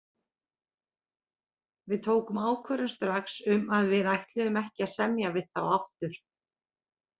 Við tókum ákvörðun strax um að við ætluðum ekki að semja við þá aftur.